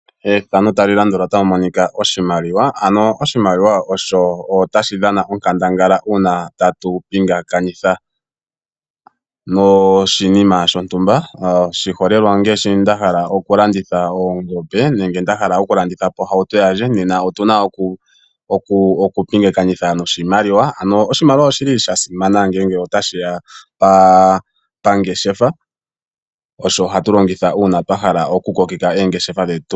Ethano tali landula otamu monika oshimaliwa. Aluhe oshimaliwa osho tashi dhana onkandanga una tatu pingakanitha noshinima shontumba. Oshiholelwa ongaashi nda hala oku landitha oongombe nenge nda hala oku landitha po ohauto yandje nena otuna oku pingakanitha noshimaliwa. Ano oshimaliwa oshili sha simana ngele tashiya pangeshefa. Osho hatu longitha una twahala oku kokeka oongeshefa dhetu.